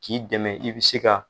K'i dɛmɛ i bɛ se ka